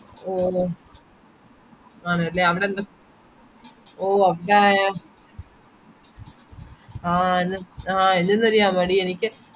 ഓ ആണല്ലെ അവടെന്തോ ഓ ആഹ് എൻ ആഹ് എന്താന്നറിയാമോടി എനിക്ക്